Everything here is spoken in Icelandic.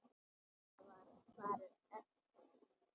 Það var farið eftir því.